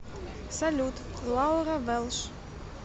салют лаура вэлш